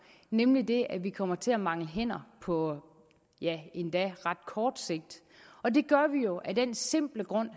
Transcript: nemlig at vi kommer til at mangle hænder på ja endda ret kort sigt og det gør vi jo af den simple grund